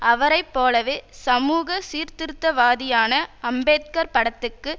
அவரை போலவே சமூக சீர்த்திருத்தவாதியான அம்பேத்கர் படத்துக்கு